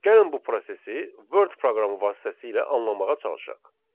Gəlin bu prosesi Word proqramı vasitəsilə anlamağa çalışaq.